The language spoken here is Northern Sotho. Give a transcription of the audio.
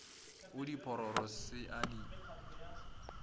go diphororo se a di